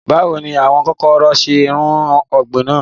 Bàwo ni àwọn kokoro ṣe run ọgbin naa?